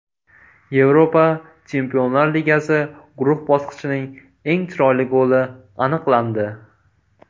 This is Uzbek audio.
Yevropa Chempionlar Ligasi guruh bosqichining eng chiroyli goli aniqlandi .